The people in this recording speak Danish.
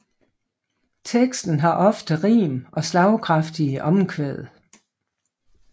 Teksten har ofte rim og slagkraftige omkvæd